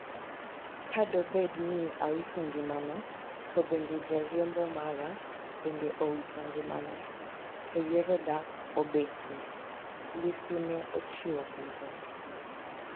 "Ka do bed ni awito ngimana to bende jariembo mara bende owito ngimane to yiero dak obetie?" Lissu ne ochiwo penjo no